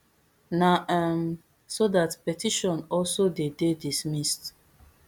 na um so dat petition also dey dey dismissed